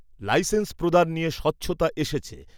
Licence প্রদান নিয়ে স্বচ্ছতা এসেছে।